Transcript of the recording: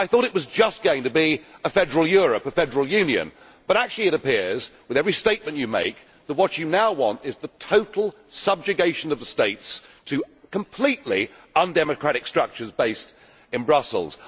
I thought it was just going to be a federal Europe a federal Union but actually it appears, with every statement you make, that what you now want is the total subjugation of states to completely undemocratic structures based in Brussels.